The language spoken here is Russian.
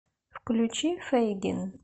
включи фейгин